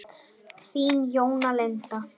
Þín Jóna Linda.